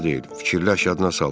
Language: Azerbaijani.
Fikirləş yaddına sal.